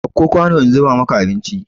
Ɗauko kwanu in zuba maka abinci!